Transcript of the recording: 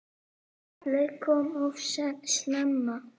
Kallið kom of snemma.